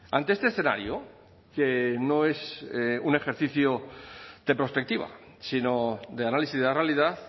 ante este escenario que no es un ejercicio de prospectiva sino de análisis de la realidad